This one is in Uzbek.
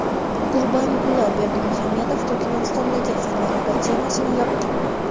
Gurbanguli Berdimuhamedov Turkmanistondagi fanlar akademiyasini yopdi.